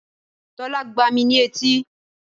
Tólá gbá mi ní etí